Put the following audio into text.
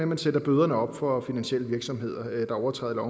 man sætter bøderne op for finansielle virksomheder der overtræder